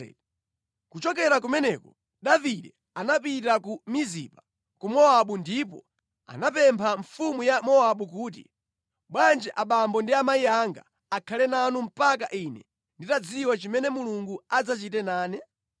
Kuchokera kumeneko Davide anapita ku Mizipa ku Mowabu ndipo anapempha mfumu ya Mowabu kuti, “Bwanji abambo ndi amayi anga akhale nanu mpaka ine nditadziwa chimene Mulungu adzachite nane?”